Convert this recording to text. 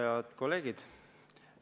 Head kolleegid!